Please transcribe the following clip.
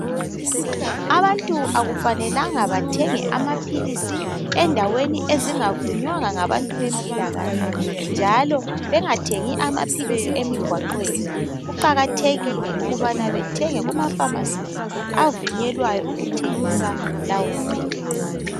Abantu akufanelanga bathenge amaphilisi endaweni ezingavunywanga ngabantu bempilakahle njalo bengathengi amaphilisi emigwaqweni. Kuqakathekile ukubana bethenge kuma pharmacies avunyelwayo ukuthengisa lawo maphilisi.